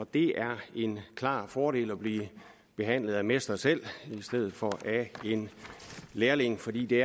det er en klar fordel at blive behandlet af mester selv i stedet for af en lærling fordi det